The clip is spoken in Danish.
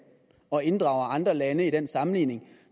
og inddrager andre lande i den sammenligning